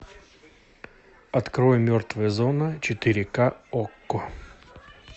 открой мертвая зона четыре ка окко